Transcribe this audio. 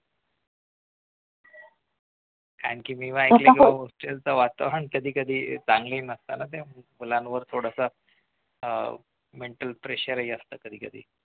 कारण मी ऐकलं hostel च वातावरण कधीकधी चांगलं नसतं ना ते मुलांवर थोडं अह mental pressure ही असतं कधीकधी